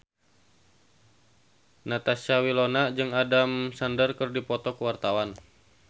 Natasha Wilona jeung Adam Sandler keur dipoto ku wartawan